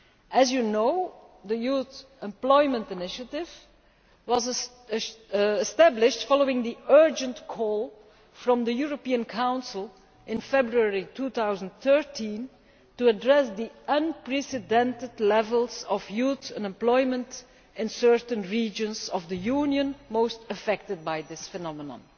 As you know, the Youth Employment Initiative was established following the urgent call from the European Council in February 2013 to address the unprecedented levels of youth unemployment in certain regions of the European Union most affected by this phenomenon.